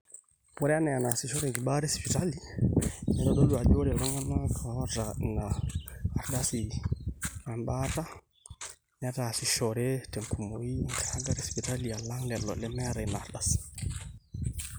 ore enaa enaasishoreki baata esipitali neitodolu ajo ore Iltung'anak oota ina ardasi ebaata netaasishore tenkumoi enkiragata esipitali alang lelo lemeeta ina ardasi